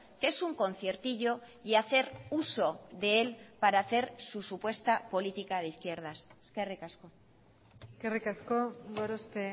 que es un conciertillo y hacer uso de él para hacer su supuesta política de izquierdas eskerrik asko eskerrik asko gorospe